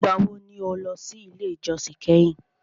Ìgbà wo ni o lọ sí ilé ìjósìn kẹ́hìn?